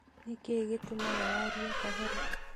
Nĩkĩĩ gĩtũmaga warie kahora?